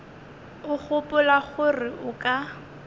o gopola gore o ka